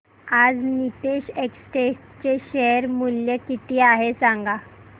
आज नीतेश एस्टेट्स चे शेअर मूल्य किती आहे सांगा